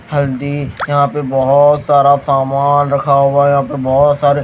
हल्दी यहाँ पे बहुत सारा सामान रखा हुआ है यहाँ पे बहुत सारे --